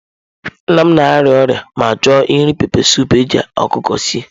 Nna m na-arịa ọrịa ma chọọ iri pepesụpụ eji ọkụkọ sie.